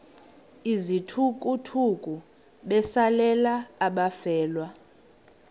izithukuthuku besalela abafelwa